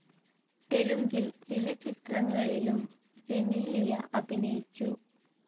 തെലുങ്കിൽ ചില ചിത്രങ്ങളിലും ജെനീലിയ അഭിനയിച്ചു.